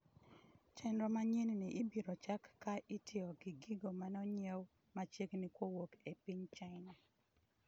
chenro manyienni ibiro chak ka itiyo gi gigo maneong'iew machiegni kowuok e piny China